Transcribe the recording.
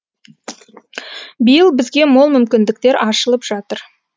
биыл бізге мол мүмкіндіктер ашылып жатыр